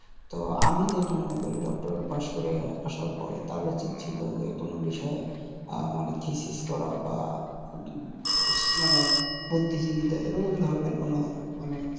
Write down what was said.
তো আমি যেটা মনে করি doctor pass করে আসার পরে তার উচিৎ ছিলো যেকোনো বিষয়ে আহ মানে করা বা উম মানে বুদ্ধিজীবী তে এরকম ধরনের কোনো মানে,